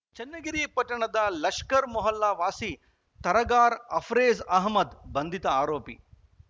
ಚನ್ನಗಿರಿ ಪಟ್ಟಣದ ಲಷ್ಕರ್‌ ಮೊಹಲ್ಲಾ ವಾಸಿ ತರಗಾರ ಅಫೆ್ರೕಜ್‌ ಅಹಮ್ಮದ್‌ ಬಂಧಿತ ಆರೋಪಿ